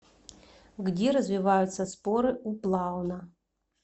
где развиваются споры у плауна